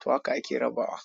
To haka ake raba wa.